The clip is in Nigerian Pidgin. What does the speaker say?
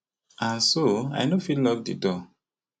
and so i no fit lock di door